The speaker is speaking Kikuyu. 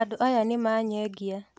Andũ aya nĩmanyengia.